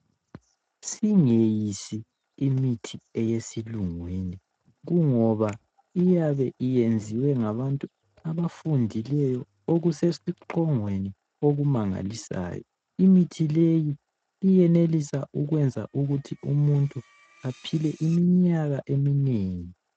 Singeyisi imithi eyesilungwini Kungoba iyabe iyenziwe ngabantu abafundileyo okusesiqongweni okumangalisayo imithi leyi iyenelisa ukwenza ukuthi umuntu aphile iminyaka eminengi.